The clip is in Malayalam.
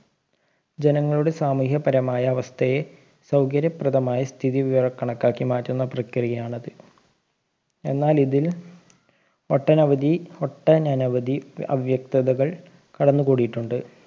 ജനങ്ങളുടെ സാമൂഹ്യ പരമായ അവസ്ഥയെ സൗകര്യ പ്രധമായ സ്ഥിതി വിവരകണക്കാക്കി മാറ്റുന്ന പ്രക്രിയയാണ് അത് എന്നാലിതിൽ ഒട്ടനവധി ഒട്ടനനവധി അവ്യക്തതകൾ കടന്നു കൂടിയിട്ടുണ്ട്